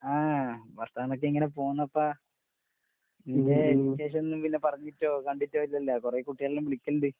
ആഹ് വാർത്താനോക്കെ ഇങ്ങനെ പോന്നപ്പാ. നീയ് വിശേഷോന്നും പിന്നെ പറഞ്ഞിട്ടോ കണ്ടിട്ടോ ഇല്ലല്ലോ. കൊറേക്കുട്ടികളെല്ലാം വിളിക്ക്ണ്ട്.